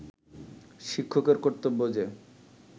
শিক্ষকের কর্তব্য যে